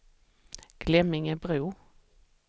Glemmingebro